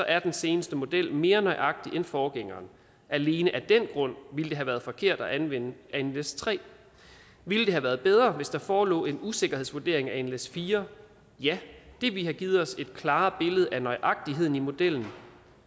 er den seneste model mere nøjagtig end forgængeren alene af den grund ville det have været forkert at anvende nles3 ville det have været bedre hvis der forelå en usikkerhedsvurdering af nles4 ja det ville have givet os et klarere billede af nøjagtigheden i modellen